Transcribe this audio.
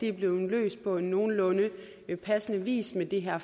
er blevet løst på nogenlunde passende vis med det her